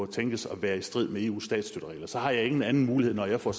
tænkes at være i strid med eus statsstøtteregler så har jeg ingen anden mulighed når jeg får